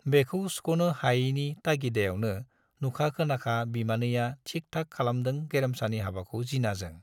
बेखौ सुख'नो हायैनि तागिदायावनो नुखा खोनाखा बिमानैया थिक थाक खालामदों गेरेमसानि हाबाखौ जिनाजों।